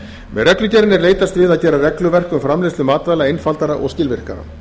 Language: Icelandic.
með reglugerðinni er leitast við að gera regluverk um framleiðslu matvæla einfaldara og skilvirkara